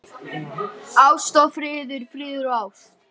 Ást og friður, friður og ást.